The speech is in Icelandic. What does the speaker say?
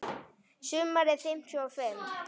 Sumarið fimmtíu og fimm.